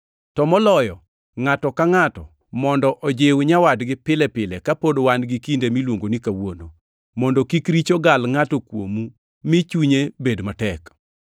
To moloyo ngʼato ka ngʼato mondo ojiw nyawadgi pile pile kapod wan gi kinde miluongo ni Kawuono, mondo kik richo gal ngʼato kuomu mi chunye bed matek.